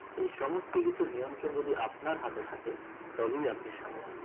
এই সমস্ত কিছুর নিয়ন্ত্রণ যদি আপনার হাতে থাকে তবেই আপনি স্বাধীন